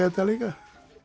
þetta líka